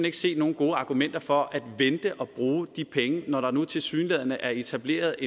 ikke se nogen gode argumenter for at vente at bruge de penge når der nu tilsyneladende er etableret